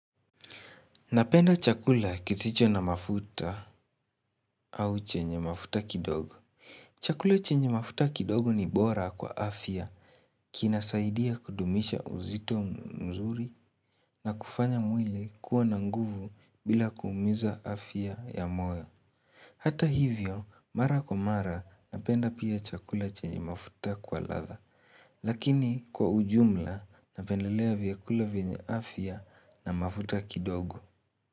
Napenda chakula kisicho na mafuta au chenye mafuta kidogo chakula chenye mafuta kidogo ni bora kwa afya Kinasaidia kudumisha uzito mzuri na kufanya mwili kuwa na nguvu bila kuumiza afya ya moyo Hata hivyo mara kwa mara napenda pia chakula chenye mafuta kwa ladha Lakini kwa ujumla napendelea vyakula venye afya na mafuta kidogo.